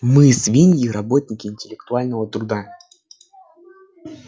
мы свиньи работники интеллектуального труда